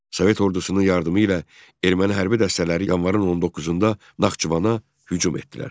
Sovet ordusunun yardımı ilə erməni hərbi dəstələri yanvarın 19-da Naxçıvana hücum etdilər.